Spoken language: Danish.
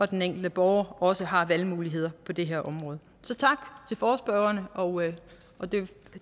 den enkelte borger også har valgmuligheder på det her område så tak til forespørgerne